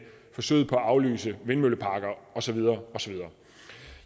forsøget på at aflyse vindmølleparker og så videre og så videre